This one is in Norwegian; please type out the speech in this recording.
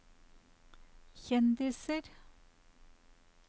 kjendiser